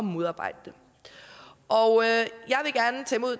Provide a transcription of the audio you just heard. modarbejde det og